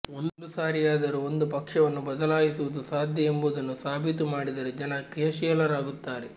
ಒಂದು ಸಾರಿಯಾದರೂ ಒಂದು ಪಕ್ಷವನ್ನು ಬದಲಾಯಿಸುವುದು ಸಾಧ್ಯ ಎಂಬುದನ್ನು ಸಾಬೀತು ಮಾಡಿದರೆ ಜನ ಕ್ರಿಯಾಶೀಲರಾಗುತ್ತಾರೆ